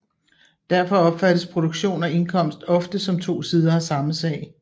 Derfor opfattes produktion og indkomst ofte som to sider af samme sag